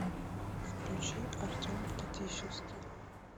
включи артем татищевский